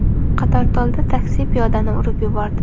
Qatortolda taksi piyodani urib yubordi.